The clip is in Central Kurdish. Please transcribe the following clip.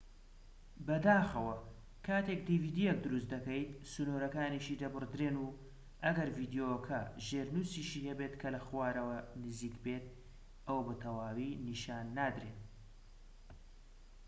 بەداخەوە، کاتێک dvdیەک دروست دەکەیت، سنوورەکانیشی دەبڕدرێن، و ئەگەر ڤیدیۆکە ژێرنووسیشی هەبێت کە لە خوارەوە نزیک بێت، ئەوە بە تەواوی نیشان نادرێن